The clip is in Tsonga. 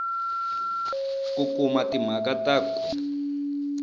ku kuma timhaka na ku